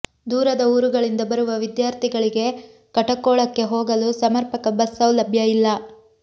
ದೂರದ ಊರುಗಳಿಂದ ಬರುವ ವಿದ್ಯಾರ್ಥಿಗಳಿಗೆ ಕಟಕೋಳಕ್ಕೆ ಹೋಗಲು ಸಮರ್ಪಕ ಬಸ್ ಸೌಲಭ್ಯ ಇಲ್ಲ